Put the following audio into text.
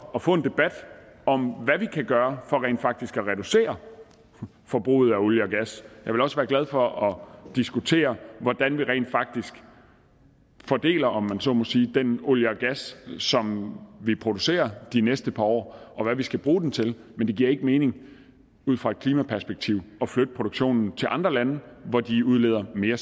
at få en debat om hvad vi kan gøre for rent faktisk at reducere forbruget af olie og gas jeg vil også være glad for at diskutere hvordan vi rent faktisk fordeler om man så må sige den olie og gas som vi producerer de næste par år og hvad vi skal bruge den til men det giver ikke mening ud fra et klimaperspektiv at flytte produktionen til andre lande hvor de udleder mere